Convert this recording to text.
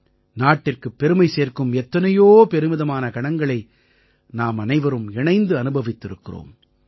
நாட்டிற்குப் பெருமை சேர்க்கும் எத்தனையோ பெருமிதமான கணங்களை நாமனைவரும் இணைந்து அனுபவித்திருக்கிறோம்